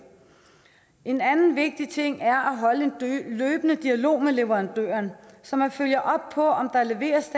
en anden vigtig ting er at holde en løbende dialog med leverandøren så man følger op på om der leveres